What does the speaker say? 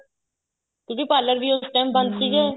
ਕਿਉਂਕਿ parlor ਵੀ ਉਸ time ਬੰਦ ਸੀਗੇ